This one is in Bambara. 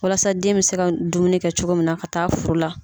Walasa den bɛ se ka dumuni kɛ cogo min na ka taa furu la.